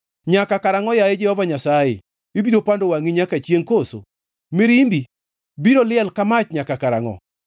Nyaka karangʼo, yaye Jehova Nyasaye? Ibiro pando wangʼi nyaka chiengʼ koso? Mirimbi biro liel ka mach nyaka karangʼo?